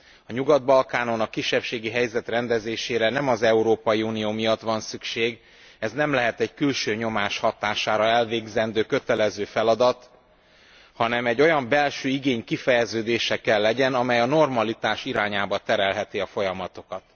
A Nyugat Balkánon a kisebbségi helyzet rendezésére nem az Európai Unió miatt van szükség, ez nem lehet egy külső nyomás hatására elvégzendő kötelező feladat, hanem egy olyan belső igény kifejeződése kell legyen, amely a normalitás irányába terelheti a folyamatokat.